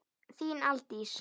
Þín, Aldís.